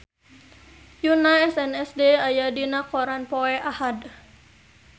Yoona SNSD aya dina koran poe Ahad